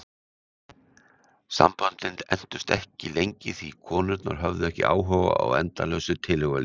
Samböndin entust ekki lengi því konurnar höfðu ekki áhuga á endalausu tilhugalífi.